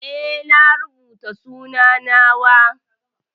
Eh na rubuta sunan na wa.